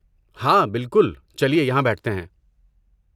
ہاں، بالکل، چلیے یہاں بیٹھتے ہیں۔